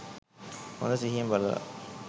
හොඳ සිහියෙන් බලල